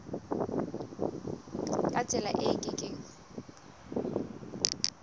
ka tsela e ke keng